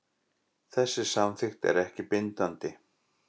Þessi samþykkt er ekki bindandi